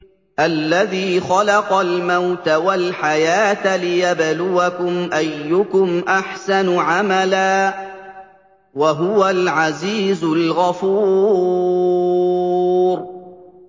الَّذِي خَلَقَ الْمَوْتَ وَالْحَيَاةَ لِيَبْلُوَكُمْ أَيُّكُمْ أَحْسَنُ عَمَلًا ۚ وَهُوَ الْعَزِيزُ الْغَفُورُ